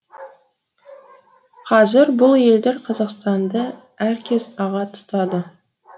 қазір бұл елдер қазақстанды әркез аға тұтады